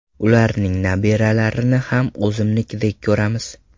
Ularning nabiralarini ham o‘zimnikidek ko‘ramiz.